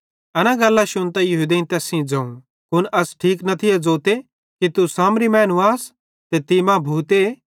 एना शुन्तां यहूदेईं तैस सेइं ज़ोवं कुन अस ठीक न थिये ज़ोते कि तू सामरी मैनू आस ते तीं मां भूते